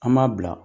An m'a bila